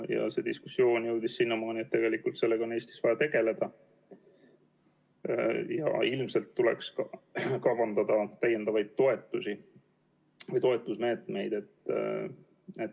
See diskussioon jõudis sinnamaani, et sellega on vaja Eestis tegeleda ja ilmselt tuleks kavandada täiendavaid toetusmeetmeid.